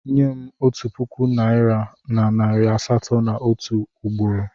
Nye m otu puku naịra na nari asatọ m otu ugboro!